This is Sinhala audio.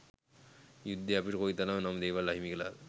යුද්ධය අපිට කොයි තරම් නම් දේවල් අහිමි කලාද.